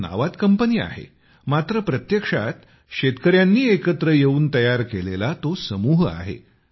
या नावात कंपनी आहे मात्र प्रत्यक्षात शेतकऱ्यांनी एकत्र येऊन तयार केलेला तो समूह आहे